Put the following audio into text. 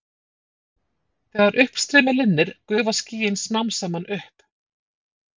þegar uppstreymi linnir gufa skýin smám saman upp